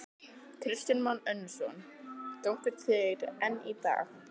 Kristján Már Unnarsson: Gagnast þær enn í dag?